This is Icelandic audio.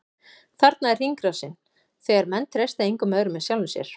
Þannig er hringrásin, þegar menn treysta engum öðrum en sjálfum sér.